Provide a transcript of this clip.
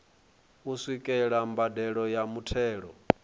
u swikelela mbadelo ya muthelo